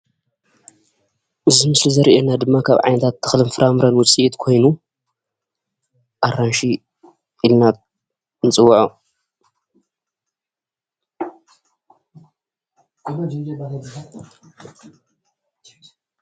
እዚ ምስሊ ዘርእየና ድማ ካብ ዓይነታት ተክልን ፍራፍረን ውፂኢት ኾይኑ ኣራንሺ ይበሃል።